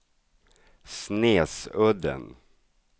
Snesudden